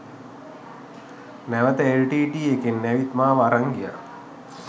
නැවත එල්ටීටීඊ එකෙන් ඇවිත් මාව අරං ගියා